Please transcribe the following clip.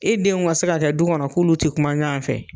E denw ka se ka kɛ du kɔnɔ k'olu tɛ kuma ɲɔgɔn fɛ.